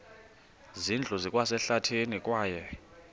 zindlu zikwasehlathini kwaye